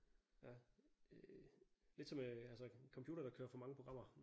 Ja øh lidt som øh altså en computer der kører for mange programmer